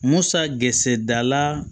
Musa gese dala